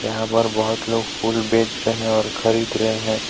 यहां पर बहुत लोग फूल बेच रहे हैं और खरीद रहे हैं.